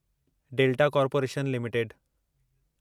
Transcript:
delta corporation limited